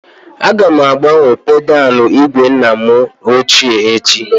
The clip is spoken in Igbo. Aga m agbanwe pedalụ igwe nna m ochie echi